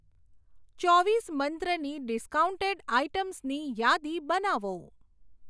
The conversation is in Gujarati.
ચોવીસ મંત્રની ડિસ્કાઉન્ટેડ આઇટમ્સની યાદી બનાવો.